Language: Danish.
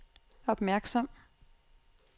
opmærksom